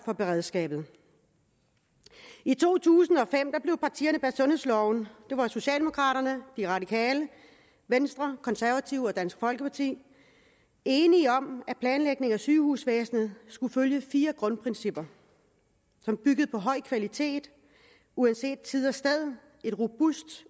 for beredskabet i to tusind og fem blev partierne bag sundhedsloven det var socialdemokraterne radikale venstre konservative og dansk folkeparti enige om at planlægningen af sygehusvæsenet skulle følge fire grundprincipper som byggede på høj kvalitet uanset tid og sted et robust